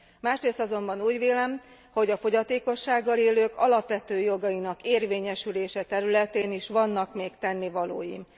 Másrészt azonban úgy vélem, hogy a fogyatékossággal élők alapvető jogainak érvényesülése területén is vannak még tennivalóink.